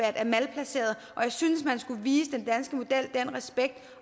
er malplaceret og jeg synes man skulle vise den danske model den respekt